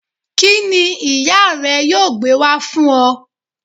Kíni ìyá rè yóò gbé wá fún o